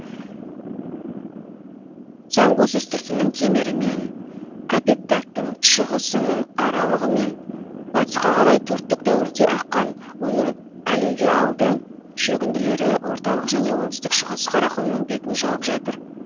зангуз үстіртінің кемерімен копетдагтың шығысынын аралығымен батысқа қарай төрттік дәуірде аққан оның алювиальды шөгінділері орталық және оңтүстік шығыс қарақұмының бетін жауып жатыр